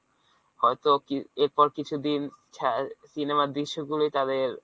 হয়তো এরপর কিছুদিন ছায়া~ cinema র দৃশ্যগুলি তাদের